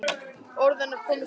Orð hennar koma í stað minna.